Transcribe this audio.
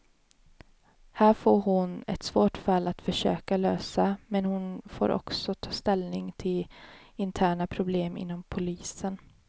Här får hon ett svårt fall att försöka lösa, men hon får också ta ställning till interna problem inom polisen.